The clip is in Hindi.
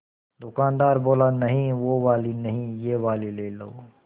दुकानदार बोला नहीं वो वाली नहीं ये वाली ले लो